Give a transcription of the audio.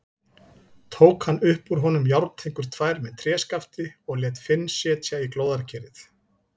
Tók hann upp úr honum járntengur tvær með tréskafti og lét Finn setja í glóðarkerið.